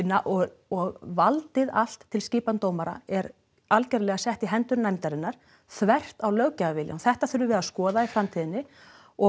og og valdið allt til skipan dómara er allt sett í hendur nefndarinnar þvert á löggjafarviljann þetta þurfum við að skoða í framtíðinni og